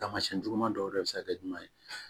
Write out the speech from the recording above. Taamasiyɛn juguman dɔw yɛrɛ bɛ se ka kɛ jumɛn ye